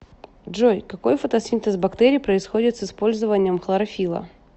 джой какой фотосинтез бактерий происходит с использованием хлорофилла